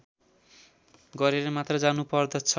गरेर मात्र जानुपर्दछ